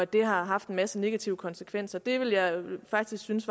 det har haft en masse negative konsekvenser det ville jeg faktisk synes